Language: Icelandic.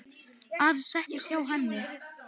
Afi settist hjá henni.